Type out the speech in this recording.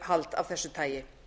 ráðstefnuhald af þessu tagi